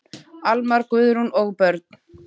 Almar, Guðrún og börn.